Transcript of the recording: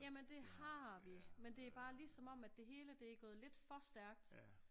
Jamen det har vi men det bare lige som om at det hele det er gået lidt for stærkt